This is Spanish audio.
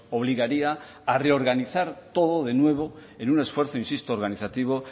obligaría a reorganizar todo de nuevo en un esfuerzo insisto organizativo